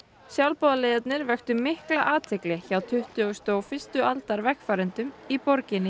sjálfboðaliðarnir vöktu mikla athygli hjá tuttugustu og fyrstu aldar vegfarendum í borginni